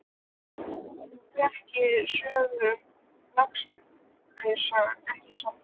Þú þekkir söguna um Lasarus, ekki satt?